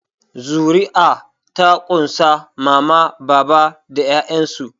Zuri'a ta ƙunshi Mama baba da 'ya'yansu.